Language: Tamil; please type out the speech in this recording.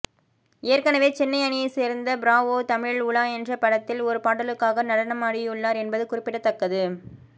ஏற்கனவே சென்னை அணியை சேர்ந்த ப்ராவோ தமிழில் உலா என்ற படத்தில் ஒரு பாடலுக்காக நடனமாடியுள்ளார் என்பது குறிப்பிடத்தக்கது